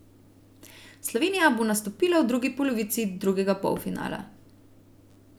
Slovenija bo nastopila v drugi polovici drugega polfinala.